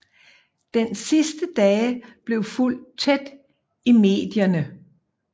Dens sidste dage blev fulgt tæt i medierne